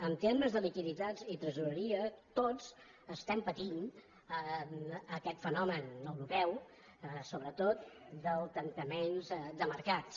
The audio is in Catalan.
en termes de liquiditats i tresoreria tots estem patint aquest fenomen europeu sobretot del tancament de mercats